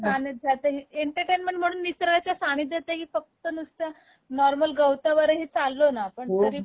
निसर्गाच्या सानिध्यात, एंटरटेनमेंट म्हणून निसर्गाच्या सानिध्यातही फक्त नुसत नॉर्मल गवतावर ही चाललो ना आपण तरी